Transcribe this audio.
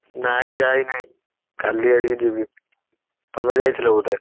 ନାଇଁ ଯାଇ ନାହିଁ। କାଲି ଆଡିକି ଯିବି। ତମେ ଯାଇଥିଲ ବୋଧେ?